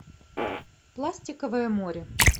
пластиковое море